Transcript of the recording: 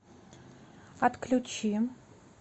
отключи